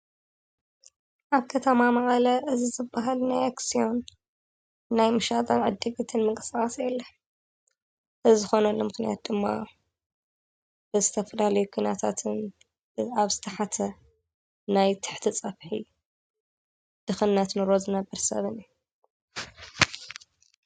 ኣብ ከተማ መቐለ እዙይ ዝበሃል ናይ ኣክስዮን ናይ ምሻጥን ዕድግትን ምንቅስቃስ የለን። እዚ ዝኾነሉ ምኽንያት ድማ ብዝተፈላለዩ ኩናታትን ኣብ ዝተሓተ ናይ ትሕቲ ፀፍሒ ድኽነት ንሮ ዝነብር ሰብን እዩ።